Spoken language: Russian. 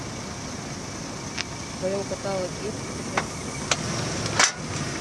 в твоем каталоге есть путешественники